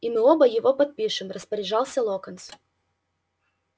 и мы оба его подпишем распоряжался локонс